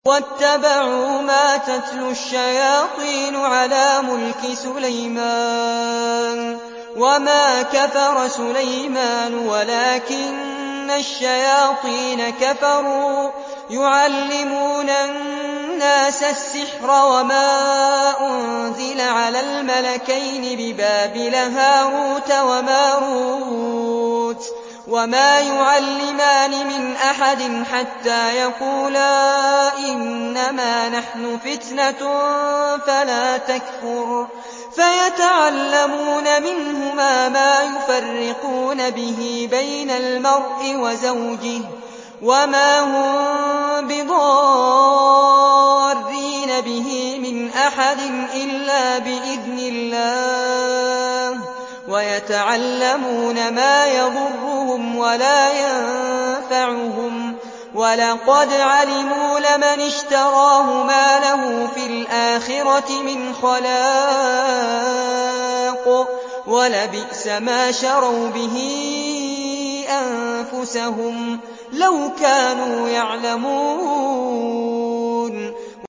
وَاتَّبَعُوا مَا تَتْلُو الشَّيَاطِينُ عَلَىٰ مُلْكِ سُلَيْمَانَ ۖ وَمَا كَفَرَ سُلَيْمَانُ وَلَٰكِنَّ الشَّيَاطِينَ كَفَرُوا يُعَلِّمُونَ النَّاسَ السِّحْرَ وَمَا أُنزِلَ عَلَى الْمَلَكَيْنِ بِبَابِلَ هَارُوتَ وَمَارُوتَ ۚ وَمَا يُعَلِّمَانِ مِنْ أَحَدٍ حَتَّىٰ يَقُولَا إِنَّمَا نَحْنُ فِتْنَةٌ فَلَا تَكْفُرْ ۖ فَيَتَعَلَّمُونَ مِنْهُمَا مَا يُفَرِّقُونَ بِهِ بَيْنَ الْمَرْءِ وَزَوْجِهِ ۚ وَمَا هُم بِضَارِّينَ بِهِ مِنْ أَحَدٍ إِلَّا بِإِذْنِ اللَّهِ ۚ وَيَتَعَلَّمُونَ مَا يَضُرُّهُمْ وَلَا يَنفَعُهُمْ ۚ وَلَقَدْ عَلِمُوا لَمَنِ اشْتَرَاهُ مَا لَهُ فِي الْآخِرَةِ مِنْ خَلَاقٍ ۚ وَلَبِئْسَ مَا شَرَوْا بِهِ أَنفُسَهُمْ ۚ لَوْ كَانُوا يَعْلَمُونَ